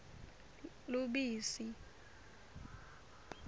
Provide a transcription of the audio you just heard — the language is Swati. lubisi